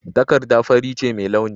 Takarda fari ce mai launi.